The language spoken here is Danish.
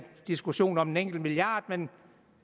diskussion om en enkelt milliard men